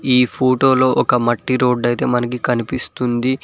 ఈ ఫోటోలో ఒక మట్టి రోడ్డు అయితే మనకి కనిపిస్తుంది.